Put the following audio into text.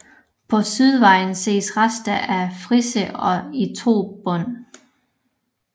På sydvæggen ses rester af frise i to bånd